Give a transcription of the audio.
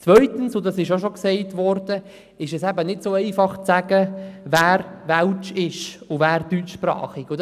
Zweitens – und das ist auch bereits erwähnt worden – ist es nicht so einfach zu sagen, wer welsch- und wer deutschsprachig ist.